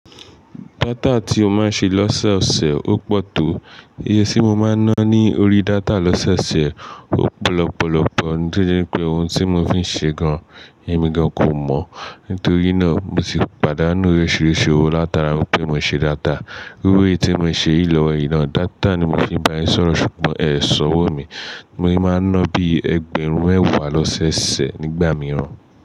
Data tí ó máa ń ṣe lọ́sẹ̀ ọ̀sẹ̀ ó pọ̀ tó. Iye tí mo máa ń ná ní orí data lọ́sẹ̀ ọ̀sẹ̀ ó pọ̀ lọ́pọ̀lọpọ̀ ní pé ohun tí mò ń fi ń ṣe gan, èmi gan kò mọ̀. Nítorí náà, mo sì pàdánù orisirisi owó látara wípé mò ń ṣe data. Iru eyi tí mò ń ṣe yìí lọwo yi na, data ni mò ń fi bá yin sọ̀rọ̀ ṣùgbọ́n ẹ ṣọwọ́ mi. Mo yi ná bí ẹgbẹ̀rún mẹ́wàá lọ́sẹ̀ se nígbà mìíràn.